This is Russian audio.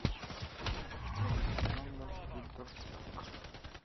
александр федорчак